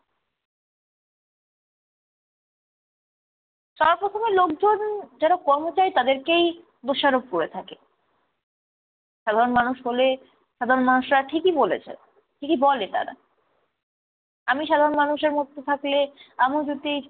সবার প্রথমে লোকজন যারা কর্মচারী তাদেরকেই দোষারোপ করে থাকে। সাধারণ মানুষ হলে, সাধারণ মানুষরা ঠিকই বলেছে, ঠিকই বলে তারা। আমি সাধারণ মানুষের মধ্যে থাকলে আমিও যদি